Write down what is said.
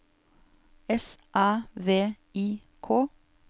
S Æ V I K